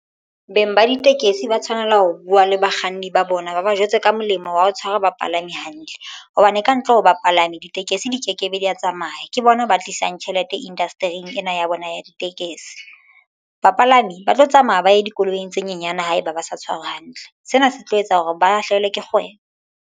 Beng ba ditekesi ba tshwanela ho buwa le bakganni ba bona ba ba jwetse ka molemo wa ho tshwara bapalami hantle hobane ka ntle ho bapalami ditekesi di ke kebe di a tsamaya ke bona ba tlisang tjhelete indastering ena ya bona ya ditekesi. Bapalami ba tlo tsamaya ba ye dikoloing tse nyenyane. Haeba ba sa tshwarwe hantle sena se tlo etsa hore ba lahlahelwe ke kgwebo.